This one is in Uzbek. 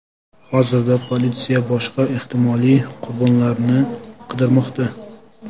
Hozirda politsiya boshqa ehtimoliy qurbonlarni qidirmoqda.